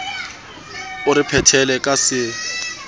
o re phethele ka se